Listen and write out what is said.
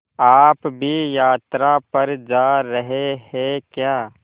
आप भी यात्रा पर जा रहे हैं क्या